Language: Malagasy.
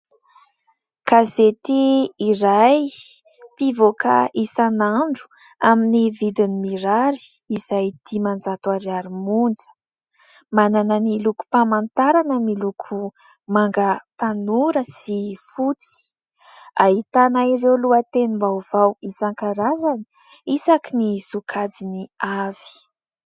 Gazety iray mpivoaka isan'andro amin'ny vidiny mirary izay dimanjato ariary monja, manana ny lokom-pamantarana miloko manga tanora sy fotsy ahitana ireo lohatenim-baovao isan-karazany isaky ny sokajiny avy.